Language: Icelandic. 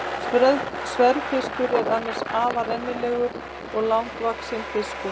Sverðfiskur er annars afar rennilegur og langvaxinn fiskur.